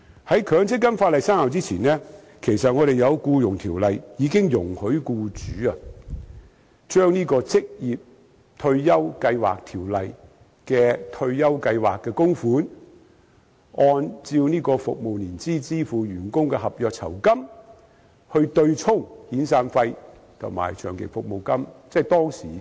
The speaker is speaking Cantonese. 在強積金法例生效之前，《僱傭條例》已經容許僱主將《職業退休計劃條例》的退休計劃供款，或按照服務年資支付予員工的合約酬金，對沖遣散費和長期服務金。